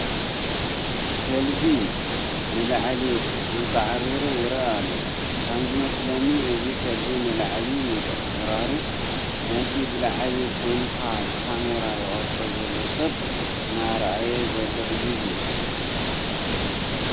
ከልቢ ንላዕሊ ኣንቃዕሪሩ ይርአ ኣሎ፡፡ ከምዝመስለኒ እዚ ከልቢ ንላዕሊ ምንቅዕራሩ ነቲ ብላዕሊ ኮይኑ ብኻሜራ ይቐርፆ ዘሎ ሰብ እናረአየ ዘሎ እዩ ዝመስል፡፡